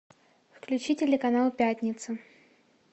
включи телеканал пятница